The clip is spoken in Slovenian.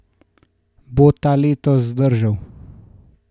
Bo ta letos zdržal?